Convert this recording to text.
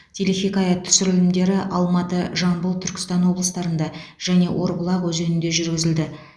телехикая түсірілімдері алматы жамбыл түркістан облыстарында және орбұлақ өзенінде жүргізілді